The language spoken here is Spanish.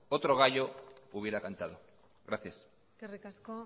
otro gallo hubiera cantado gracias eskerrik asko